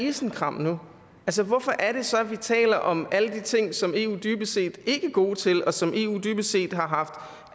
isenkram nu hvorfor er det så at vi taler om alle de ting som eu dybest set ikke er god til og som eu jo dybest set har haft